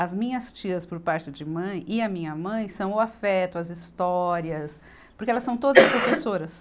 As minhas tias por parte de mãe e a minha mãe são o afeto, as histórias, porque elas são todas professoras.